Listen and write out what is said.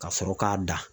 Ka sɔrɔ k'a dan